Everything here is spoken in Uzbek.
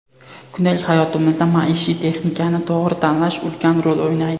Kundalik hayotimizda maishiy texnikani to‘g‘ri tanlash ulkan rol o‘ynaydi.